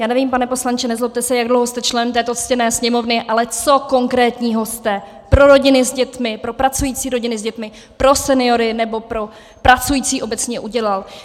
Já nevím, pane poslanče, nezlobte se, jak dlouho jste člen této ctěné Sněmovny, ale co konkrétního jste pro rodiny s dětmi, pro pracující rodiny s dětmi, pro seniory nebo pro pracující obecně udělal?